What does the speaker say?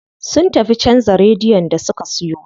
Sun tafi canza radiyon da suka siyo.